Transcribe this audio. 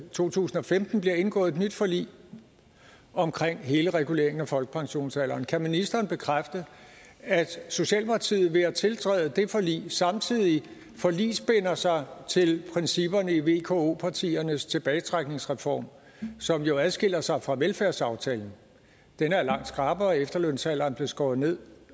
to tusind og femten blev indgået et nyt forlig omkring hele reguleringen af folkepensionsalderen kan ministeren bekræfte at socialdemokratiet ved at tiltræde det forlig samtidig forligsbinder sig til principperne i vko partiernes tilbagetrækningsreform som jo adskiller sig fra velfærdsaftalen den er langt skrappere efterlønsalderen blev skåret ned